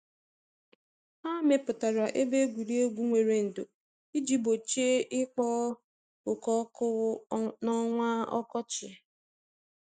Ha mepụtara ebe egwuregwu nwere ndò iji gbochie ikpo oke ọkụ n’ọnwa ọkọchị.